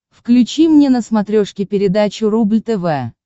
включи мне на смотрешке передачу рубль тв